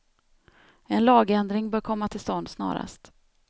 En lagändring bör komma till stånd snarast.